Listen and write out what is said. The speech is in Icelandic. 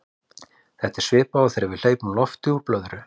þetta er svipað og þegar við hleypum lofti úr blöðru